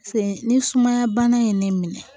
Sen ni sumaya bana ye ne minɛ